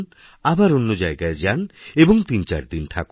আবার অন্য জায়গায় যান এবং তিনদিনচারদিন থাকুন